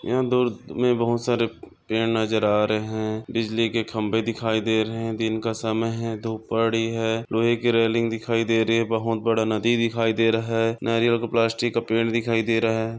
यहा दूर में बहोत सारे पेड नजर आ रहे है बिजली के खंबे दिखाई दे रहे है दिन का समय है धुप पड़ी है लोहे की रेलिंग दिखाई दे रही है बड़ा नदी दिखाई दे रहा है नारियल का पेड़ प्लास्टिक का पेड़ दिखाई दे रहा है।